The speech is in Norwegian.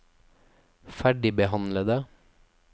ferdigbehandlede